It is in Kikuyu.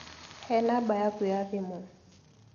He namba yaku ya thimũ.